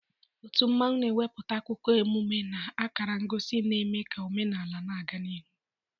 Otu mmanwu na-ewepụta akụkọ, emume na akara ngosi na-eme ka omenaala na-aga n'ihu.